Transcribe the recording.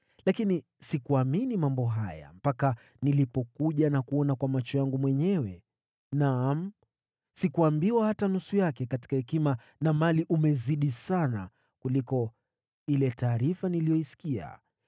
Lakini sikuamini yaliyosemwa hadi nilipokuja na kuona kwa macho yangu mwenyewe. Naam, sikuambiwa hata nusu yake; katika hekima na mali umezidi sana kuliko ile taarifa niliyoisikia.